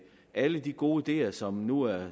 alle de gode ideer som nu er